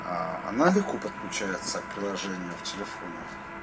она легко подключается к приложению в телефоне